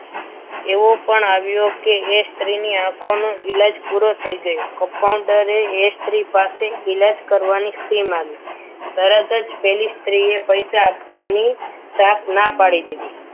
એવો પણ આવ્યો કે એ સ્ત્રીની આંખોનો ઈલાજ પૂરો થઈ ગયો compounder એ સ્ત્રી પાસે ઈલાજ કરવાની fee માગી તરત જ પેલી સ્ત્રીએ પૈસા આપવાની સાફ ના પાડી દીધી.